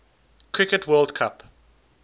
cricket world cup